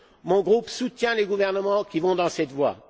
Mon groupe soutient les gouvernements qui s'engagent dans cette voie.